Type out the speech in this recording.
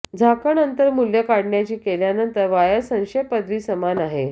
झाकण अंतर मूल्य काढण्याची केल्यानंतर वायर संक्षेप पदवी समान आहे